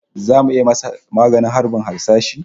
Zamu iya masa maganin harbin harsashin?